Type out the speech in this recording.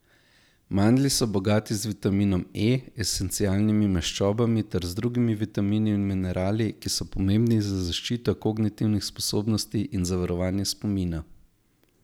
Mandlji so bogati z vitaminom E, esencialnimi maščobami ter z drugimi vitamini in minerali, ki so pomembni za zaščito kognitivnih sposobnosti in za varovanje spomina.